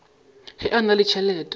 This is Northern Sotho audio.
ge a na le tšhelete